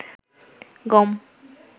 গম